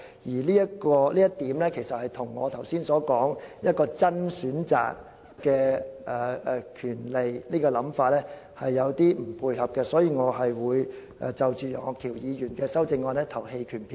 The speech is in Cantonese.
由於這點與我剛才所說"真正的選擇"和想法有所不同，因此我會就楊岳橋議員的修正案投棄權票。